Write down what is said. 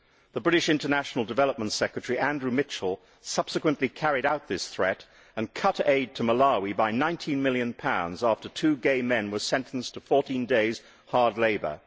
The British International Development Secretary, Andrew Mitchell, subsequently carried out this threat and cut aid to Malawi by GBP 19 million after two gay men were sentenced to 14 days' hard labour.